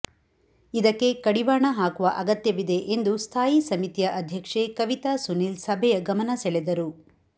ಇದಕ್ಕೆ ಕಡಿವಾಣ ಹಾಕುವ ಅಗತ್ಯವಿದೆ ಎಂದು ಸ್ಥಾಯಿ ಸಮಿತಿಯ ಅಧ್ಯಕ್ಷೆ ಕವಿತಾ ಸುನೀಲ್ ಸಭೆಯ ಗಮನ ಸೆಳೆದರು